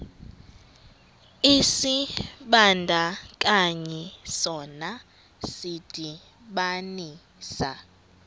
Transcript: isibandakanyi sona sidibanisa